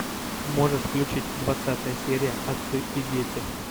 можешь включить двадцатая серия отцы и дети